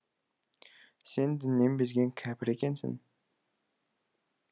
сен діннен безген кәпір екенсің